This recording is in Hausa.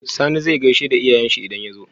Sani zai gaishe da iyayen shi idan ya zo?